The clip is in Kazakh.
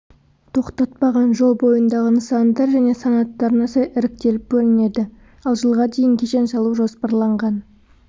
тоқтатпаған жол бойындағы нысандар және санаттарына сай іріктеліп бөлінеді ал жылға дейін кешен салу жоспарланған